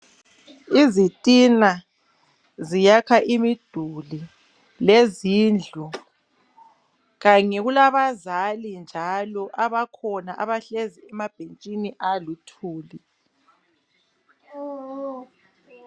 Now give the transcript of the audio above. Izitina ziyakha imiduli lezindlu kanye kulabazali njalo abakhona abahlezi emabhentshini aluthuli.